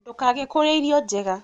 Ndũkage kũrĩa irio njega